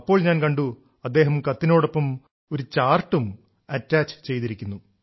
അപ്പോൾ ഞാൻ കണ്ടു അദ്ദേഹം കത്തിനോടൊപ്പം ഒരു ചാർട്ടും അറ്റാച്ച് ചെയ്തിരിക്കുന്നു